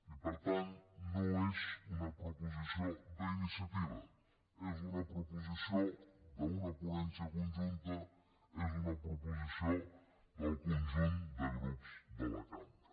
i per tant no és una proposició d’iniciativa és una proposició d’una ponència conjunta és una proposició del conjunt de grups de la cambra